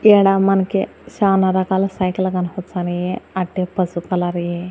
ఈడ మనకి చానా రకాల సైకిళ్లు కనిపిచనాయి అట్టే పసుపు కలర్ యి.